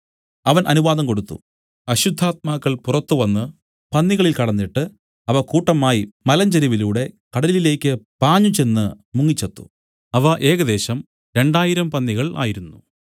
അവൻ അനുവാദം കൊടുത്തു അശുദ്ധാത്മാക്കൾ പുറത്തുവന്ന് പന്നികളിൽ കടന്നിട്ട് അവ കൂട്ടമായി മലഞ്ചരിവിലൂടെ കടലിലേക്ക് പാഞ്ഞുചെന്ന് മുങ്ങി ചത്തു അവ ഏകദേശം രണ്ടായിരം പന്നികൾ ആയിരുന്നു